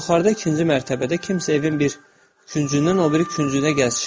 Yuxarıda ikinci mərtəbədə kimsə evin bir küncündən o biri küncünə gəzişirdi.